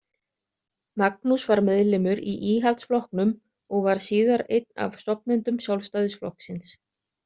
Magnús var meðlimur í Íhaldsflokknum og var síðar einn af stofnendum Sjálfstæðisflokksins.